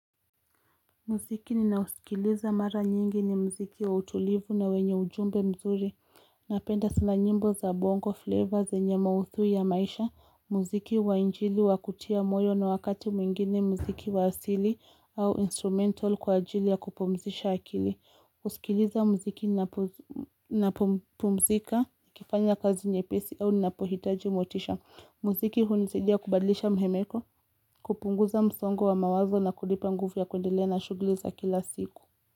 Muziki ninausikiliza mara nyingi ni mziki wa utulivu na wenye ujumbe mzuri. Napenda sana nyimbo za bongo, flavors, zenye maudhui ya maisha. Muziki wa injili wa kutia moyo na wakati mwingine mziki wa asili au instrumental kwa ajili ya kupumzisha akili. Husikiliza mziki ninapopumzika, nikifanya kazi nyepesi au ninapohitaji motisha. Muziki hunisaidia kubadlisha mhemeko, kupunguza msongo wa mawazo na kunipa nguvu ya kuendelea na shughuli za kila siku.